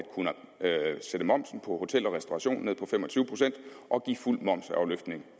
kunne sætte momsen på hotel og restauration ned og give fuld momsafløftning